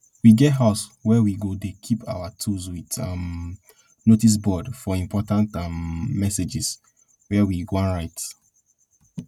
we get house wey we go dey keep our tools wit um notice board for important um messages wey we wan write